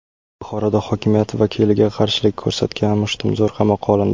Buxoroda hokimiyat vakiliga qarshilik ko‘rsatgan mushtumzo‘r qamoqqa olindi.